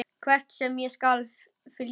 Hvert sem er skal ég fylgja þér.